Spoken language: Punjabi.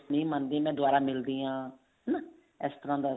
parents ਨਹੀਂ ਮੰਨਦੇ ਮੈਂ ਦੁਬਾਰਾ ਮਿਲਦੀ ਹਾਂ ਹਨਾ ਇਸ ਤਰ੍ਹਾਂ ਦਾ